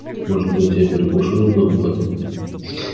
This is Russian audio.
может быть я перекушу немного потом